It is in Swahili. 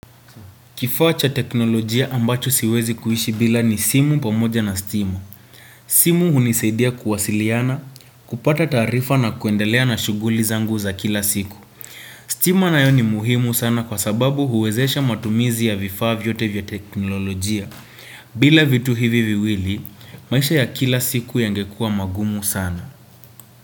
Kifaa cha teknolojia ambacho siwezi kuishi bila ni simu pamoja na stima. Simu hunisaidia kuwasiliana, kupata tarifa na kuendelea na shuguli zangu za kila siku. Stima nayo ni muhimu sana kwa sababu huwezesha matumizi ya vifaa vyote vya teknolojia. Bila vitu hivi viwili, maisha ya kila siku yangekua magumu sana.